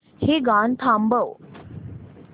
हे गाणं थांबव